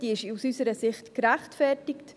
diese ist aus unserer Sicht gerechtfertigt.